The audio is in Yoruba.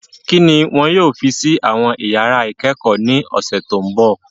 Kí ni wọn yóò fi sí àwọn iyàrá ìkẹ́kọ̀ọ́ ní ọ̀sẹ̀ tó mbọ̀?